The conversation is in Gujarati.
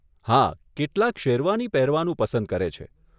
હા, કેટલાક શેરવાની પહેરવાનું પસંદ કરે છે.